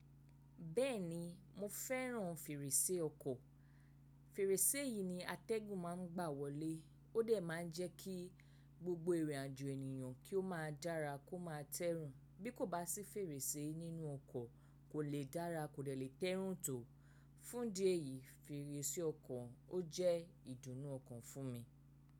Bẹ́ẹ̀ni mo fẹ́ràn fèrèsé ọkọ̀. Fèrèsé yìí ni atẹ́gùn máa ń gbà wọlé. Ó dẹ̀ máa ń jẹ́ kí gbogbo ìrìnàjò ènìyàn kí ó máa dára kó máa tẹ́rùn. Bí kò bá sí fèrèsé nínú ọkọ̀ kò le dára, kò le lè tẹ́rùn tó. Fún idi eyì fèrèsé ọkọ̀ ó jẹ́ ìdùnnú ọkàn fún mi.